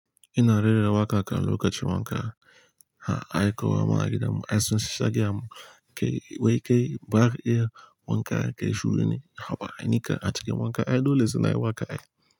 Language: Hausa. Ina rera waƙa kan lokacin wanka. Ai kowa ma a gidanmu, ai sun sha gaya mun kai wai kai baka iya wanka kai shuri ne. Haba ainika a cikin wanka ai dole sana'ar waƙa ai.